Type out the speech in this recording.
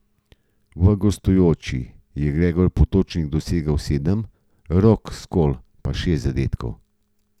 V gostujoči je Gregor Potočnik dosegel sedem, Rok Skol pa šest zadetkov.